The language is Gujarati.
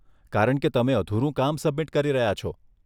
કારણ કે તમે અધૂરું કામ સબમિટ કરી રહ્યા છો.